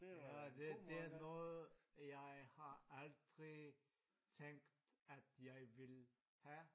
Det det er noget jeg har aldrig tænkt at jeg ville have